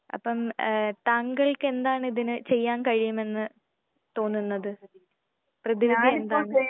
അപ്പം ഏഹ് താങ്കൾക്കെന്താണ് ഇതിന് ചെയ്യാൻ കഴിയുമെന്ന് തോന്നുന്നത്? പ്രതിവിധി എന്താണ്?